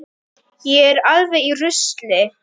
Ég er alveg í rusli.